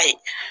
Ayi